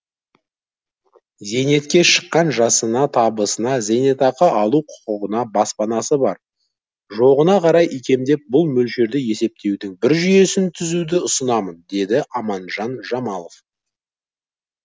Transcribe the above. зейнетке шыққан жасына табысына зейнетақы алу құқығына баспанасы бар жоғына қарай икемдеп бұл мөлшерді есептеудің бір жүйесін түзуді ұсынамын деді аманжан жамалов